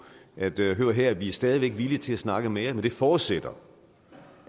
erdogan hør her vi er stadig væk villige til at snakke mere men det forudsætter